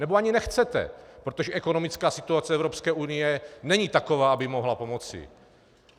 Nebo ani nechcete, protože ekonomická situace Evropské unie není taková, aby mohla pomoci.